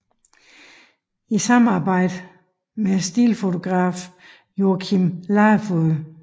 I samarbejde med stillfotografen Joachim Ladefoged